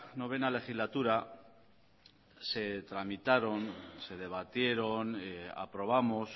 novena legislatura se tramitaron se debatieron aprobamos